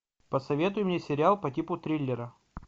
посоветуй мне сериал по типу триллера